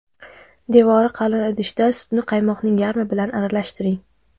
Devori qalin idishda sutni qaymoqning yarmi bilan aralashtiring.